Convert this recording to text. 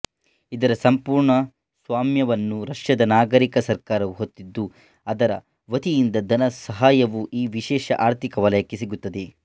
ಇದರ ಸಂಪೂರ್ಣ ಸ್ವಾಮ್ಯವನ್ನು ರಷ್ಯಾದ ನಾಗರಿಕ ಸರ್ಕಾರವು ಹೊತ್ತಿದ್ದು ಅದರ ವತಿಯಿಂದ ಧನಸಹಾಯವೂ ಈ ವಿಶೇಷ ಆರ್ಥಿಕ ವಲಯಕ್ಕೆ ಸಿಗುತ್ತದೆ